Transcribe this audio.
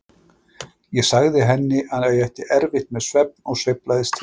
Ég sagði henni að ég ætti erfitt með svefn og sveiflaðist til og frá.